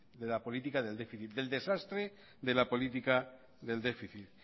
de la política del déficit del desastre de la política del déficit